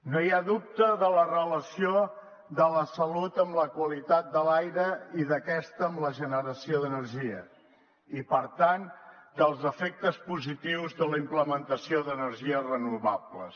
no hi ha dubte de la relació de la salut amb la qualitat de l’aire i d’aquesta amb la generació d’energia i per tant dels efectes positius de la implementació d’energies renovables